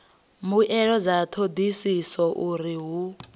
mbuelo dza thodisiso uri hu